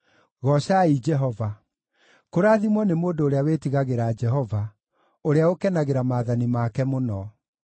Goocai Jehova. Kũrathimwo nĩ mũndũ ũrĩa wĩtigagĩra Jehova, ũrĩa ũkenagĩra maathani make mũno.